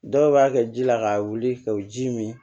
Dɔw b'a kɛ ji la k'a wuli ka u ji min